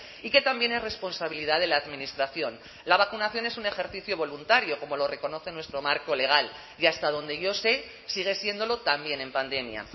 y que también es responsabilidad de la administración la vacunación es un ejercicio voluntario como lo reconoce nuestro marco legal y hasta donde yo sé sigue siéndolo también en pandemia